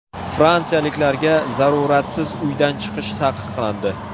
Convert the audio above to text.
Fransiyaliklarga zaruratsiz uydan chiqish taqiqlandi.